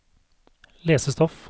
lesestoff